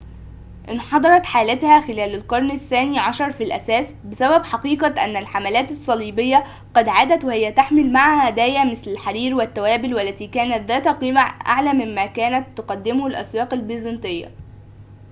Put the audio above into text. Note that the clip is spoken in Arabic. انحدرت حالتها خلال القرن الثاني عشر في الأساس بسبب حقيقة أن الحملات الصليبية قد عادت وهي تحمل معها هدايا مثل الحرير والتوابل والتي كانت ذات قيمة أعلى مما كانت تقدمه الأسواق البيزنطية